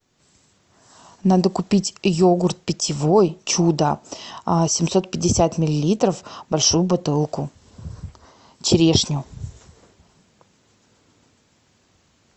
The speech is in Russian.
надо купить йогурт питьевой чудо семьсот пятьдесят миллилитров большую бутылку черешню